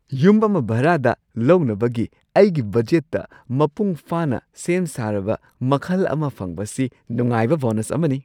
ꯌꯨꯝ ꯑꯃ ꯚꯥꯔꯥꯗ ꯂꯧꯅꯕꯒꯤ ꯑꯩꯒꯤ ꯕꯖꯦꯠꯇꯥ ꯃꯄꯨꯡ ꯐꯥꯅꯥ ꯁꯦꯝ ꯁꯥꯔꯕ ꯃꯈꯜ ꯑꯃ ꯐꯪꯕꯁꯤ ꯅꯨꯡꯉꯥꯏꯕ ꯕꯣꯅꯁ ꯑꯃꯅꯤ꯫